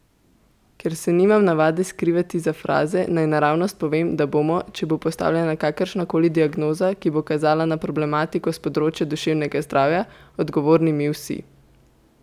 Ker se nimam navade skrivati za fraze, naj naravnost povem, da bomo, če bo postavljena kakršna koli diagnoza, ki bo kazala na problematiko s področja duševnega zdravja, odgovorni mi vsi!